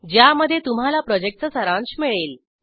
ज्यामध्ये तुम्हाला प्रॉजेक्टचा सारांश मिळेल